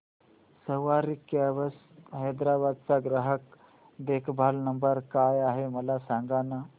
सवारी cabs Hyderabad चा ग्राहक देखभाल नंबर काय आहे मला सांगाना